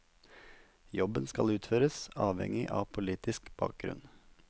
Jobben skal utføres uavhengig av politisk bakgrunn.